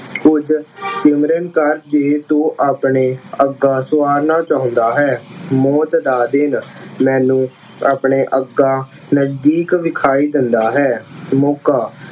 ਹੁਣ ਸਿਮਰਨ ਕਰਕੇ ਤੂੰ ਆਪਣਾ ਅੱਗਾ ਸਵਾਰਨਾ ਚਾਹੁੰਦਾ ਹੈ। ਮੌਤ ਦਾ ਦਿਨ, ਮੈਨੂੰ ਆਪਣਾ ਅੱਗਾ ਨਜ਼ਦੀਕ ਵਿਖਾਈ ਦਿੰਦਾ ਹੈ। ਮੌਕਾ